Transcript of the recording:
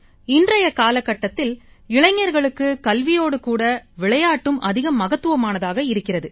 இன்றைய கால கட்டத்தில் இளைஞர்களுக்கு கல்வியோடு கூட விளையாட்டும் அதிக மகத்துவமானதாக இருக்கிறது